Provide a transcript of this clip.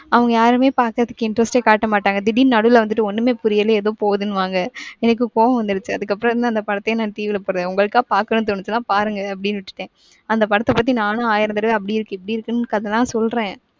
அவங்க யாருமே பாக்குறதுக்கு interest காட்டாமாட்டாங்க திடீருனு நடுல வந்துட்டு ஒன்னுமே புரியல ஏதோ போகுதுன்னுவாங்க எனக்கு கோவம் வந்துருச்சு அதுக்கப்பறம் இருந்து அந்த படத்தயே நான் TV ல போடறேன் உங்களுக்கா பாக்கனும்னு தோணுச்சுனா பாருங்க அப்டினு விட்டுட்டேன். அந்த படத்த பத்தி நானும் ஆயிரம் தரவ அப்டி இருக்கு, இப்டி இருக்குன்னு கதலாம் சொல்றேன்.